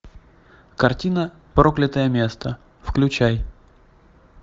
картина проклятое место включай